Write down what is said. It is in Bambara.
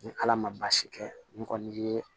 Ni ala ma baasi kɛ ni kɔni ye